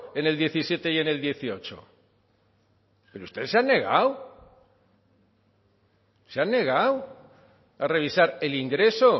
en el diecisiete y en el dieciocho pero ustedes se han negado se han negado a revisar el ingreso